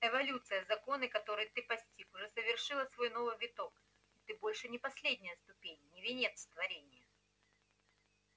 эволюция законы которой ты постиг уже совершила свой новый виток и ты больше не последняя ступень не венец творенья